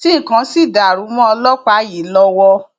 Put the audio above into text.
tí nǹkan sì dàrú mọ ọlọpàá yìí lọwọ